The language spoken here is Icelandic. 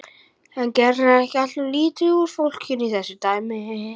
En gerirðu ekki alltof lítið úr fólkinu í þessu dæmi?